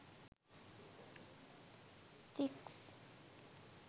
six